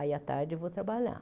Aí, à tarde, eu vou trabalhar.